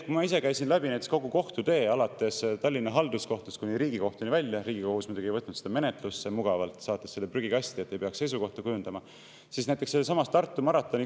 Kui ma ise käisin Tartu maratoni kaasusega läbi kogu kohtutee alates Tallinna Halduskohtust kuni Riigikohtuni välja – Riigikohus muidugi mugavalt ei võtnud seda menetlusse, vaid saatis selle prügikasti, et ei peaks seisukohta kujundama –, siis oligi küsimus selles.